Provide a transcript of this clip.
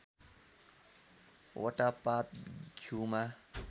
वटा पात घ्यूमा